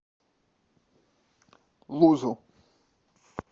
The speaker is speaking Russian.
лузу